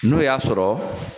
N'o y'a sɔrɔ